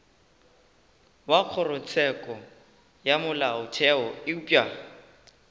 wa kgorotsheko ya molaotheo eupša